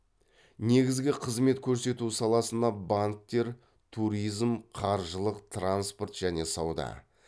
негізгі қызмет көрсету саласына банктер туризм қаржылық транспорт және сауда